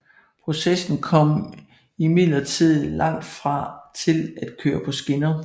Processen kom imidlertid langt fra til at køre på skinner